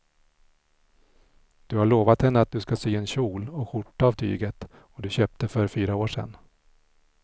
Du har lovat henne att du ska sy en kjol och skjorta av tyget du köpte för fyra år sedan.